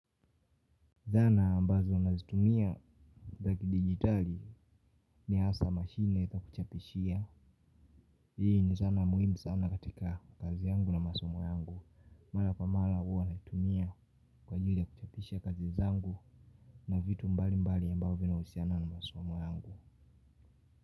Zana ambazo nazitumia. Za kidigitali ni hasa mashine na ita kuchapishia. Hii ni zana muhimu sana katika kazi yangu na masomu yangu. Mara kwa mara huwa naitumia kwa ajili ya kuchapishia kazi zangu. Na vitu mbali mbali ambavyo vinahusiana na masomo yangu.